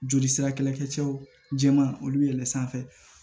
Joli sira kɛlɛkɛcɛw jɛman olu yɛlɛn sanfɛ